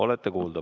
Olete kuulda.